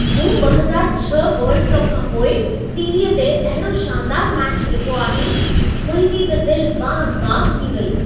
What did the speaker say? मूं 2006 world cup खां पोइ टी.वी.अ ते अहिड़ो शानदार मैचु ॾिठो आहे। मुंहिंजी त दिल बाग़-बाग़ थी वई।